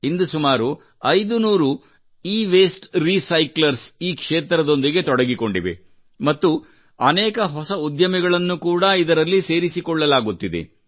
ಇಂದು ಸುಮಾರು 500 e waste recyclers ಈ ಕ್ಷೇತ್ರದೊಂದಿಗೆ ತೊಡಗಿಕೊಂಡಿವೆ ಮತ್ತು ಅನೇಕ ಹೊಸ ಉದ್ಯಮಿಗಳನ್ನು ಕೂಡಾ ಇದರಲ್ಲಿ ಸೇರಿಸಿಕೊಳ್ಳಲಾಗುತ್ತಿದೆ